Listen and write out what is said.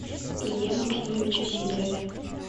илье максимовиче сидорове